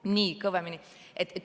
Nii, kõvemini.